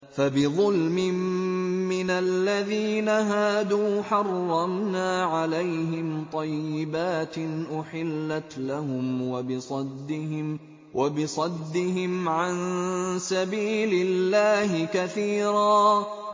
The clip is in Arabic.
فَبِظُلْمٍ مِّنَ الَّذِينَ هَادُوا حَرَّمْنَا عَلَيْهِمْ طَيِّبَاتٍ أُحِلَّتْ لَهُمْ وَبِصَدِّهِمْ عَن سَبِيلِ اللَّهِ كَثِيرًا